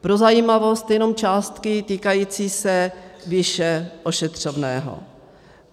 Pro zajímavost jenom částky týkající se výše ošetřovného.